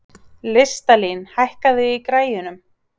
Listalín, hækkaðu í græjunum.